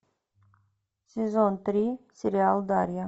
сезон три сериал дарья